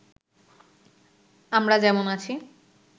আমরা যেমন আছি